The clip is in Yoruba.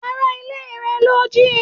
Ará ilé rẹ lọ jíí